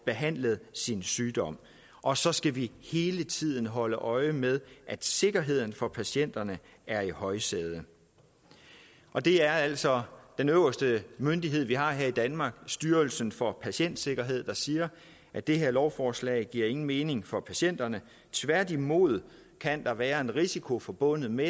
behandlet sin sygdom og så skal vi hele tiden holde øje med at sikkerheden for patienterne er i højsædet og det er altså den øverste myndighed vi har her i danmark styrelsen for patientsikkerhed der siger at det her lovforslag ikke giver nogen mening for patienterne tværtimod kan der være en risiko forbundet med